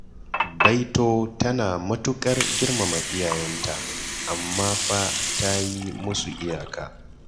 Baito tana matuƙar girmama iyayenta, amma fa ta yi musu iyaka.